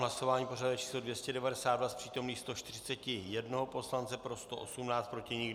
Hlasování pořadové číslo 292, z přítomných 141 poslance, pro 118, proti nikdo.